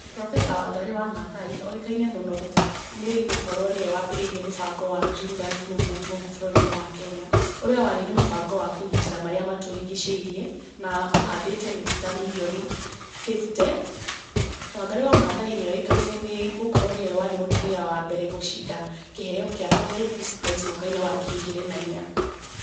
Profesa Wangarĩ wa Maathai oĩkaine muno nĩ gũkorwo nĩ we wambĩrĩirie mũbango wa Green Belt Movement gũkũ bũrũri-inĩ wa Kenya, ũrĩa warĩ nĩ mũbango wa kũgitĩra marĩa matũrigicĩirie, na ũhandĩte mĩtĩ ta mirioni fifty. Wangarĩ wa Maathai nĩ oĩkaine nĩ gũkorwo nĩwe warĩ mũtumia wa mbere gũcinda kĩheo gĩa Nobel Peace Prize mwaka wa ngiri igĩri na inya.